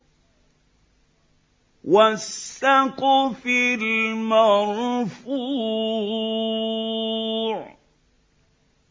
وَالسَّقْفِ الْمَرْفُوعِ